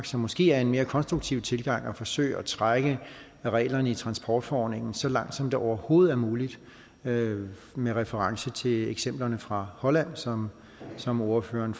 så måske er en mere konstruktiv tilgang at forsøge at trække reglerne i transportforordningen så langt som det overhovedet er muligt med med reference til eksemplerne fra holland som som ordføreren